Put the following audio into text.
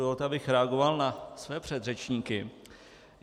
Dovolte, abych reagoval na své předřečníky.